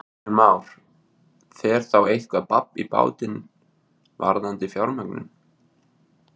Kristján Már: Fer þá eitthvað babb í bátinn varðandi fjármögnun?